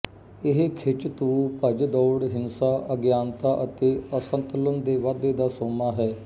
ਇਹ ਖਿੱਚ ਧੂਹ ਭੱਜ ਦੌੜ ਹਿੰਸਾ ਅਗਿਆਨਤਾ ਅਤੇ ਅਸੰਤੁਲਨ ਦੇ ਵਾਧੇ ਦਾ ਸੋਮਾ ਹੈ